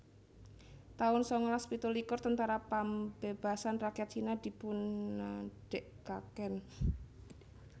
taun sangalas pitulikur Tentara Pambebasan Rakyat Cina dipunadegaken